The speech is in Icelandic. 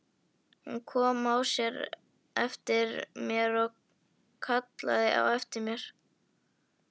Hún kom á eftir mér og hallaði sér að mér.